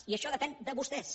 i això depèn de vostès